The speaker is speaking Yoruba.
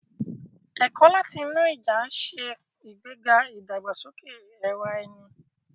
Ẹ̀kọ́ láti inú ìjà ń ṣe ìgbéga ìdàgbàsókè ara ẹni.